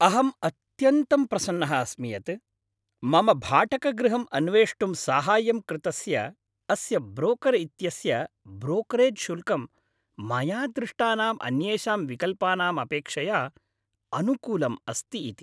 अहम् अत्यन्तं प्रसन्नः अस्मि यत्, मम भाटकगृहम् अन्वेष्टुं साहाय्यं कृतस्य अस्य ब्रोकर् इत्यस्य ब्रोकरेज् शुल्कं, मया दृष्टानाम् अन्येषां विकल्पानाम् अपेक्षया अनुकूलम् अस्ति इति।